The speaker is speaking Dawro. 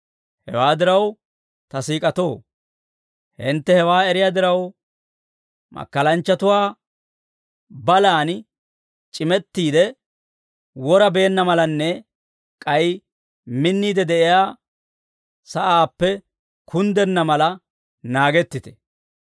Hewaa diraw, ta siik'atoo, hintte hewaa eriyaa diraw, makkalanchchatuwaa balaan c'imettiide, wora beenna malanne, k'ay minniide de'iyaa sa'aappe kunddenna mala naagettite.